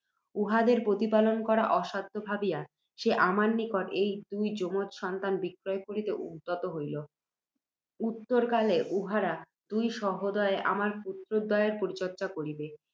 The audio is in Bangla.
উহাদের প্রতিপালন করা অসাধ্য ভাবিয়া, সে আমার নিকট ঐ দুই যমজ সন্তান বিক্রয় করিতে উদ্যত হইল। উত্তরকালে উহারা দুই সহোদরে আমার পুত্ত্রদ্বয়ের পরিচর্য্যা করিবেক